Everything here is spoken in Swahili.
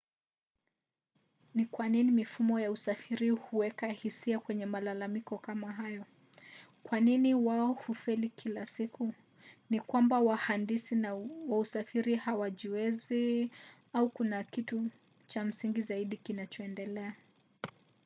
ni kwa nini mifumo ya usafiri huweka hisia kwenye malalamiko kama hayo kwa nini wao hufeli kila siku? ni kwamba wahandisi wa usafiri hawajiwezi? au kuna kitu cha msingi zaidi kinachoendelea?